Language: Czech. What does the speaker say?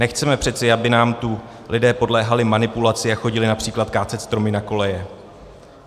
Nechceme přeci, aby nám tu lidé podléhali manipulaci a chodili například kácet stromy na koleje.